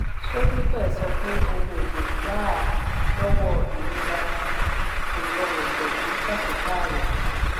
sódípè sọ pé ohun èlò gbà á lọ́wọ́ ìrora bí kò rọrùn pẹ̀lú pàṣípààrọ̀.